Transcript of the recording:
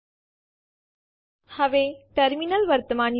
તમે જોઈ શકો છો ટેસ્ટ ડિરેક્ટરી અસ્તિત્વમાં છે